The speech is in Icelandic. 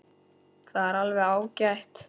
Það er alveg ágætt.